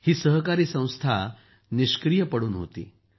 ही सहकारी संस्था निष्क्रीय पडून होती